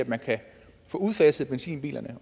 man kan få udfaset benzinbilerne